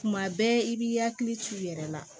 Tuma bɛɛ i b'i hakili t'u yɛrɛ la